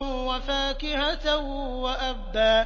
وَفَاكِهَةً وَأَبًّا